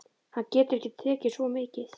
Hann getur ekki tekið svo mikið.